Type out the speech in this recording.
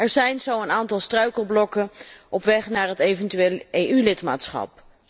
Er zijn zo een aantal struikelblokken op weg naar het eventueel EU lidmaatschap.